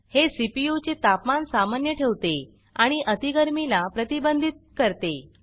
हे सीपीयू चे तापमान सामान्य ठेवते आणि अती गरमि ला प्रतिबंधित करते